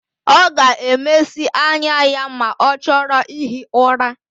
Ọ ga-emesi anya ya ma ọ chọrọ ihi ụra.